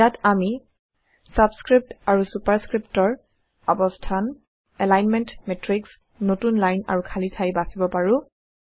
ইয়াত আমি ছাবচস্ক্ৰিপ্ট আৰু ছুপাৰস্ক্ৰিপ্টৰ অবস্থান এলাইনমেন্ট মেট্ৰিক্স নতুন লাইন আৰু খালী ঠাই বাচিব পাৰো